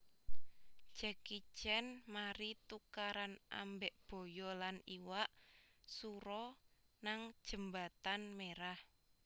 Jackie Chan mari tukaran ambek boyo lan iwak suro nang jembatan Merah